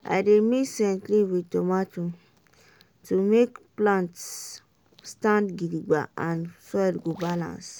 i dey mix scent leaf with tomato to make plants stand gidigba and soil go balance.